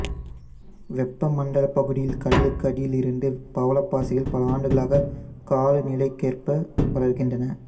வெப்ப மண்டலப் பகுதியில் கடலுக்கு அடியில் இருந்து பவளப்பாசிகள் பலஅடுக்குகளாக காலநிலைக்கேற்படி வளர்கின்றன